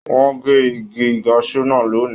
Wọn n gé igi kasú náà lónì.